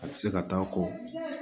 A tɛ se ka taa a kɔ